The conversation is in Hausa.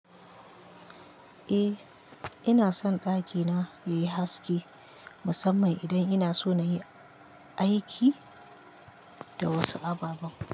Eh, ina son ɗakina yayi haske musamman idan ina so na yi aiki da wasu ababen.